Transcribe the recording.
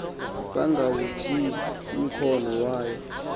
bangawutsibi umkhondo wayo